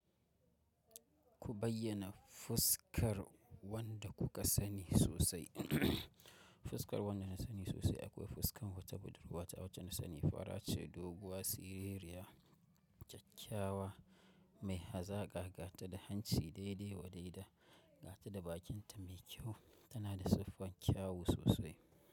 Ku bayyana fuskar wanda kuka sani sosai. Fuskar wanda na sani sosai akwai fuskar wata budurwa ta wacce na sani fara ce, doguwa, siririya, kyakyawa mai hazaga, gata da hanci daidai wa daida, gata da bakinta mai kyau. Tana da siffar kyawu sosai.